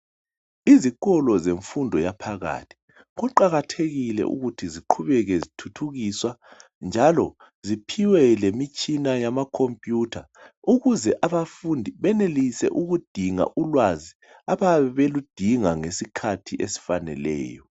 Izikolo zemfundo yaphakathi kuqakathekile ukuthi ziqhubeke zithuthukiswa njalo ziphiwe lemitshina yamacomputer ukuze abafundi benelise ukudinga ulwazi abayabe beludinga ngesikhathi esifaneleyo.